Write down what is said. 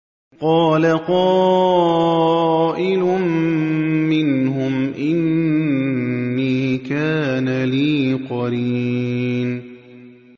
قَالَ قَائِلٌ مِّنْهُمْ إِنِّي كَانَ لِي قَرِينٌ